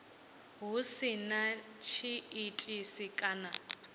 hu si na tshiitisi kana